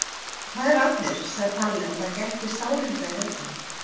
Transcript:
Hvað er að þér? sagði Palli og það gætti sárinda í röddinni.